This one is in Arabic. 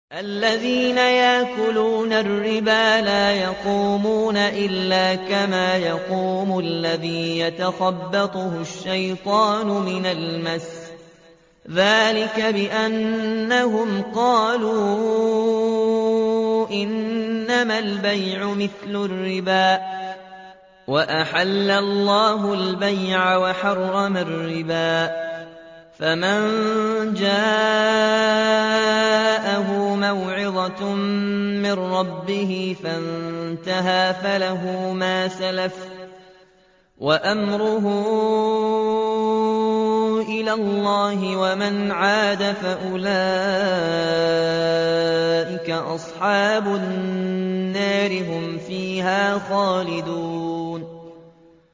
الَّذِينَ يَأْكُلُونَ الرِّبَا لَا يَقُومُونَ إِلَّا كَمَا يَقُومُ الَّذِي يَتَخَبَّطُهُ الشَّيْطَانُ مِنَ الْمَسِّ ۚ ذَٰلِكَ بِأَنَّهُمْ قَالُوا إِنَّمَا الْبَيْعُ مِثْلُ الرِّبَا ۗ وَأَحَلَّ اللَّهُ الْبَيْعَ وَحَرَّمَ الرِّبَا ۚ فَمَن جَاءَهُ مَوْعِظَةٌ مِّن رَّبِّهِ فَانتَهَىٰ فَلَهُ مَا سَلَفَ وَأَمْرُهُ إِلَى اللَّهِ ۖ وَمَنْ عَادَ فَأُولَٰئِكَ أَصْحَابُ النَّارِ ۖ هُمْ فِيهَا خَالِدُونَ